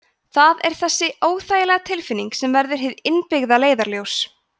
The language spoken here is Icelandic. það er þessi óþægilega tilfinning sem verður hið innbyggða leiðarljós